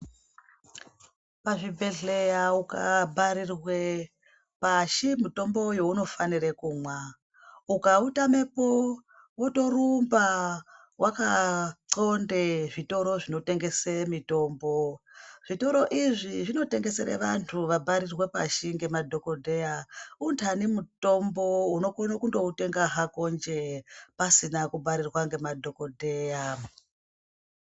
Pazvibhedhleya ukabharirwe pashi mitombo yeunofanire kumwa, ukautamepo wotorumba wakaxonde zvitoro zvinotengese mitombo. Zvitoro izvi zvinotengesere vantu wabharirwe pashi ngemadhokodheya untani mutombo unokone kundoutenga hako njee pasina kubharirwe pashi ngemadhokodheya.